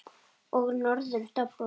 Og norður doblar.